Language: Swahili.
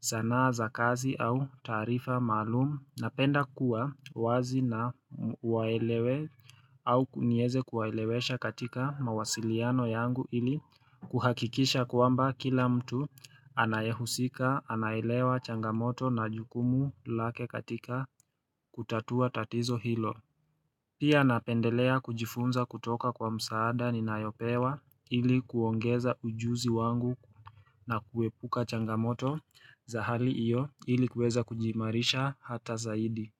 sanaa za kazi au taarifa malum. Napenda kuwa wazi na waelewe au nieze kuwaelewesha katika mawasiliano yangu ili kuhakikisha kwamba kila mtu anayehusika anaelewa changamoto na jukumu lake katika kutatua tatizo hilo. Pia napendelea kujifunza kutoka kwa msaada ninayopewa ili kuongeza ujuzi wangu na kuepuka changamoto za hali iyo ili kuweza kujiimarisha hata zaidi.